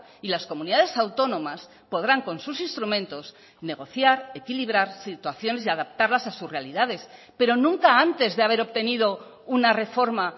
y las comunidades autónomas podrán con sus instrumentos negociar equilibrar situaciones y adaptarlas a sus realidades pero nunca antes de haber obtenido una reforma